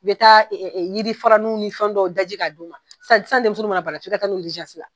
I bɛ taa yiri fara nun ni fɛn dɔw daji k'a d'u ma, san san denmisɛnnu mana bana f'i ka taa n'u ye la.